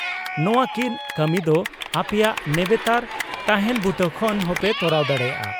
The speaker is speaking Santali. ᱱᱚᱣᱟ ᱠᱤᱱ ᱠᱟᱹᱢᱤ ᱫᱚ ᱟᱯᱮᱭᱟᱜ ᱱᱮᱵᱮᱛᱟᱨ ᱛᱟᱸᱦᱮᱱ ᱵᱩᱴᱟᱹ ᱠᱷᱚᱱ ᱦᱚᱸᱯᱮ ᱛᱚᱨᱟᱣ ᱫᱟᱲᱮᱭᱟᱜᱼᱟ ᱾